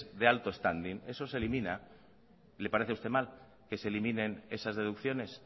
de alto standing eso se elimina le parece a usted mal que se eliminen esas deducciones